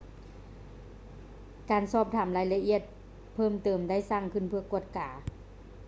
ການສອບຖາມລາຍລະອຽດເພີ່ມເຕີມໄດ້ສ້າງຂຶ້ນເພື່ອກວດກາ